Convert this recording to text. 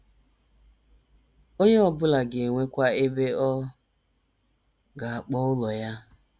Onye ọ bụla ga - enwekwa ebe ọ ga - akpọ ụlọ ya.